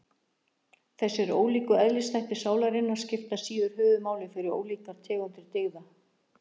Þessir ólíku eðlisþættir sálarinnar skipta síðar höfuðmáli fyrir ólíkar tegundir dygða.